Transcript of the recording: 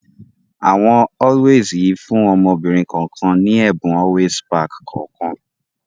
Àwọn Always yìí fún ọmọbìnrin kọ̀ọ̀kan ní ẹ̀bùn Always pack kọ̀ọ̀kan